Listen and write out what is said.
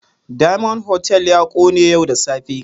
Diamond Hotel ya kone yau da safe.